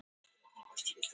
Geirlaugur